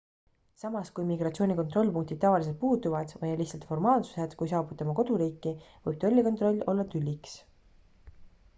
samas kui immigratsiooni kontrollpunktid tavaliselt puuduvad või on lihtsalt formaalsused kui saabute oma koduriiki võib tollikontroll olla tüliks